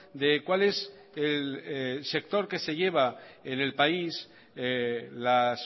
de cuál es el sector que se lleva en el país las